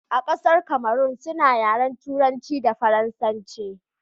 a ƙasar Kamarun suna yaren turanci da faransanci